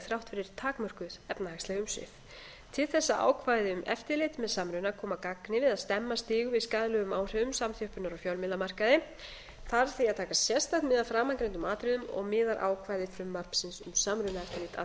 þrátt fyrir takmörkuð efnahagsleg umsvif til þess að ákvæði um eftirlit með samruna komi að gagni við að stemma stigu við skaðlegum áhrifum samþjöppunar á fjölmiðlamarkaði þarf því að taka sérstakt mið af framangreindum atriðum og miðar ákvæði frumvarpsins um samrunaeftirlit að